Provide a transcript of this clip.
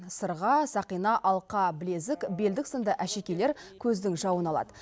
сырға сақина алқа білезік белдік сынды әшекейлер көздің жауын алады